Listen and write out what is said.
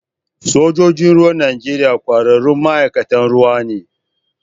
Sojojin ruwan Najeriya ƙwararrun ma'aikatan ruwa ne